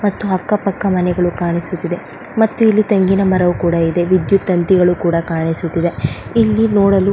ಮತ್ತು ಅಕ್ಕ ಪಕ್ಕ ಮನೆಗಳು ಕಾಣಿಸುತ್ತಿದೆ ಮತ್ತು ಇಲ್ಲಿ ತೆಂಗಿನ ಮರಗಳು ಕೂಡ ಇದೆ ವಿದ್ಯುತ್ ತಂತಿಗಳು ಕೂಡ ಕಾಣಿಸುತ್ತಿದೆ ಇಲ್ಲಿ ನೋಡಲು --